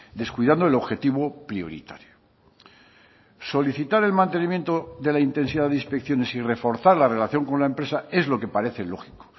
descuidando el objetivo prioritario solicitar el mantenimiento de la intensidad de inspecciones y reforzar la relación con la empresa es lo que parece lógico